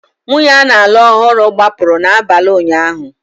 Nwunye a na-alụ ọhụrụ gbapụrụ n'abalị ụnyaahụ